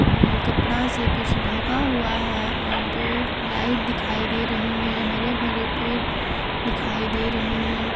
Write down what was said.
अम्म कपड़ा से कुछ ढका हुआ है और दो लाइट दिखाई दे रही हैं हरे भरे पेड़ दिखाई दे रहे हैं।